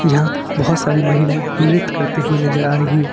यहां बहुत सारी महिलाए नृत्य करते हुए नजर आ रही है।